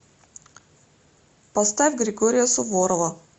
поставь григория суворова